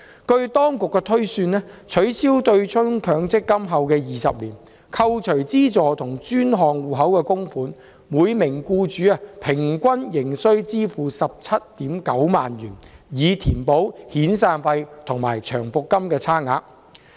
據當局推算，取消強積金對沖後的20年，扣除資助和專項戶口的供款，每名僱主仍須支付平均 179,000 元，以填補遣散費和長期服務金的差額。